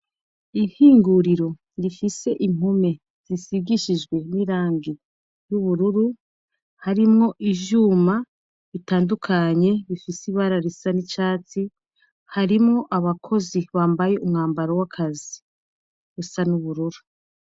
Ihinguriro rifise impume zisigishijwe n'irangi y'ubururu harimwo ijyuma bitandukanye bifise ibararisa n'icatsi harimo abakozi bambaye umwambaro w'akazi busa n'uburura.